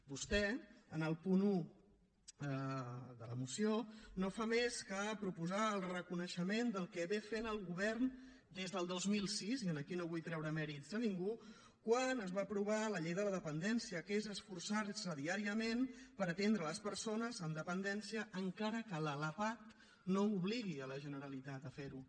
vostè en el punt un de la moció no fa més que proposar el reconeixement del que ha fet el govern des del dos mil sis i aquí no vull treure mèrits a ningú quan es va aprovar la llei de la dependència que és esforçarse diàriament per atendre les persones amb dependència encara que la lapad no obligui la generalitat a ferho